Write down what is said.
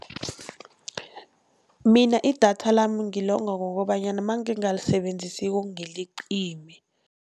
Mina idatha lami ngilonga ngokobanyana mangingalisebenzisiko ngiliqime.